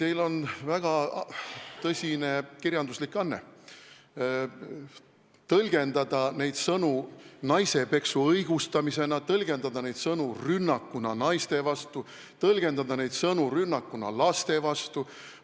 Teil on väga hea kirjanduslik anne tõlgendada neid sõnu naisepeksu õigustamisena, tõlgendada neid sõnu rünnakuna naiste vastu, tõlgendada neid sõnu rünnakuna laste vastu.